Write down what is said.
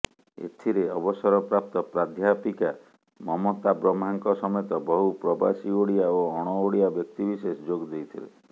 ଏଥିରେ ଅବସରପ୍ରାପ୍ତ ପ୍ରାଧ୍ୟାପିକା ମମତା ବ୍ରହ୍ମାଙ୍କ ସମେତ ବହୁ ପ୍ରବାସୀ ଓଡ଼ିଆ ଓ ଅଣଓଡ଼ିଆ ବ୍ୟକ୍ତିବିଶେଷ ଯୋଗ ଦେଇଥିଲେ